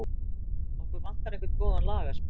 Okkur vantar einhvern góðan lagasmið.